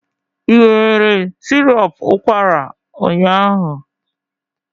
Ị were sirop ụkwara ụnyaahụ?